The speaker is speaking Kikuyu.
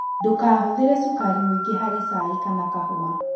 Ndũkahũthĩre cukari mũingĩ harĩ cai kana kahũa